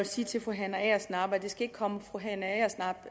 sige til fru hanne agersnap at det ikke skal komme fru hanne agersnap